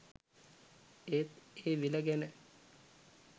ඒත් ඒ විල ගැන